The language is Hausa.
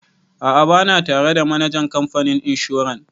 A'a ba na tare da manajan kamfanin inshoran.